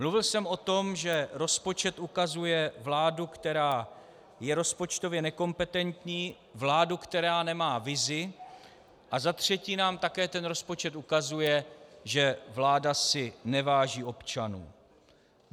Mluvil jsem o tom, že rozpočet ukazuje vládu, která je rozpočtově nekompetentní, vládu, která nemá vizi, a za třetí nám také ten rozpočet ukazuje, že vláda si neváží občanů.